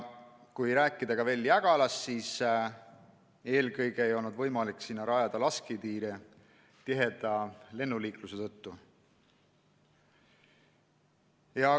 Kui rääkida veel Jägalast, siis eelkõige ei olnud võimalik sinna lasketiire rajada tiheda lennuliikluse tõttu.